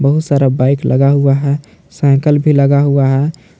बहुत सारा बाइक लगा हुआ है साइकिल भी लगा हुआ है।